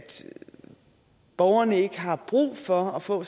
borgerne ikke har brug for at få